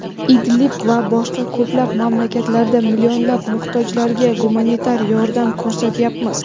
Idlib va boshqa ko‘plab mamlakatlarda millionlab muhtojlarga gumanitar yordam ko‘rsatyapmiz.